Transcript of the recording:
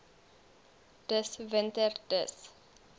dis winter dis